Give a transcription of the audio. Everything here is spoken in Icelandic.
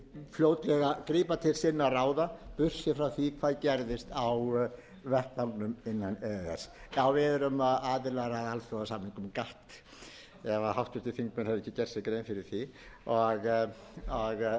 fljótlega grípa til sinna ráða burt séð frá því hvað gerist á vettvangnum innan e e s við erum aðilar að alþjóðasamningnum gatt ef háttvirtir þingmenn hefðu ekki gert sér grein fyrir því og þar er einmitt kveðið